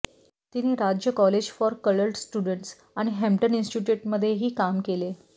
तिने राज्य college for coloured students आणि हॅम्टन इंस्टिट्यूटमध्येही काम केले